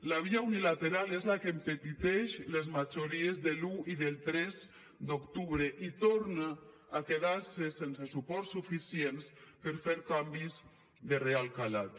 la via unilateral és la que empetiteix les majories de l’un i del tres d’octubre i torna a quedar se sense suports suficients per fer canvis de real calat